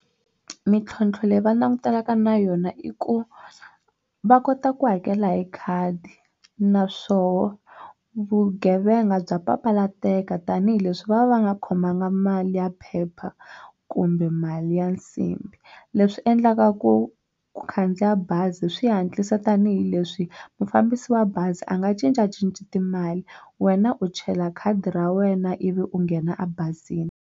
Mintlhontlho leyi va langutanaka na yona i ku va kota ku hakela hi khadi naswoho vugevenga bya papalateka tanihileswi va va va nga khomanga mali ya phepha kumbe mali ya nsimbhi leswi endlaka ku ku khandziya bazi swi hatlisa tanihileswi mufambisi wa bazi a nga cincacinci timali wena u chela khadi ra wena ivi u nghena ebazini.